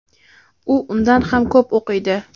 u undan ham ko‘p o‘qiydi.